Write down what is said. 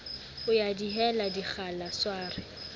ho ya dihela dikgala sware